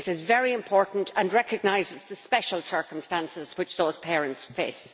This is very important and recognises the special circumstances which those parents face.